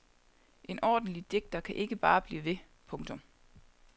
En ordentlig digter kan ikke bare blive ved. punktum